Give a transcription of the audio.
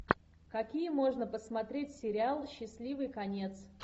какие можно посмотреть сериалы счастливый конец